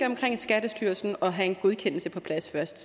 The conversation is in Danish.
omkring skattestyrelsen og have en godkendelse på plads først